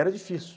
Era difícil.